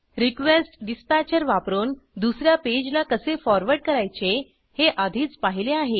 request dispatcher वापरून दुस या पेजला कसे फॉरवर्ड करायचे हे आधीच पाहिले आहे